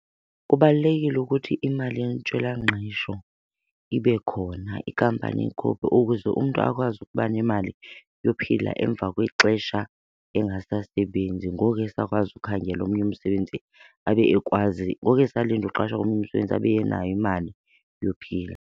Kubalulekile ukuthi imali yentswelangqesho ibe khona, ikampani iyikhuphe ukuze umntu akwazi ukuba nemali yophila emva kwexesha engasasebenzi. Ngoku esakwazi ukhangela omnye umsebenzini abe ekwazi, ngoku esalinde uqashwa komnye umsebenzi abe enayo imali yophila.